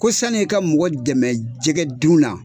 Ko sani i ka mɔgɔ dɛmɛ jɛgɛ dun na